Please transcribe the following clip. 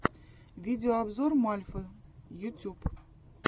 видеообзор мальфы ютюб